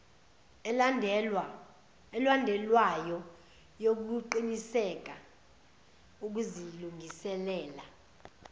elandelwayo yokuqiniseka ukuzilungiselela